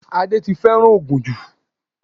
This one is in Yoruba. Adé ti fẹ́ràn ògùn jù